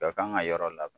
Bɛɛ kan ka yɔrɔ labɛn